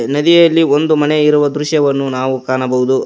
ಈ ನದಿಯಲ್ಲಿ ಒಂದು ಮನೆ ಇರುವ ದೃಶ್ಯವನ್ನು ನಾವು ಕಾಣಬಹುದು.